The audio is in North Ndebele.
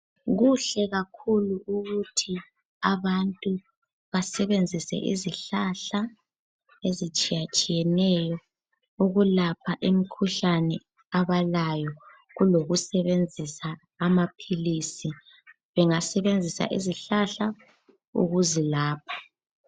Kuhle kakhulu ukuthi abantu basebenzise izihlahla ezitshiyatshiyeneyo ukulapha imikhuhlane abalayo Kulokusebenzisa amaphilisi. Bengasebenzisa izihlahla ukuzilapha.